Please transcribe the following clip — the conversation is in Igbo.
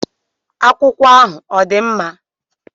Akwụkwọ ahụ ọ dị mma?